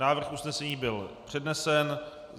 Návrh usnesení byl přednesen.